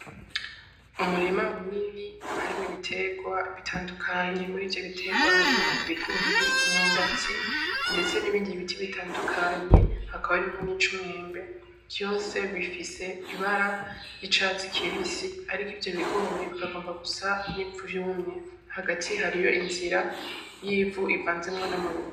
Umurima munini harimwo ibiterwa bitandukanye. Muri ivyo biterwa harimwo ibigori, imyumbati ndetse n'ibindi biti bitandukanye, hakaba harimwo n'icumwembe, vyose bifise ibara ry'icatsi kibisi ariko ivyo bigori bikagomba gusa n'ivyumye. Hagati hariho inzira y'ivu rivanzemwo n'amabuye.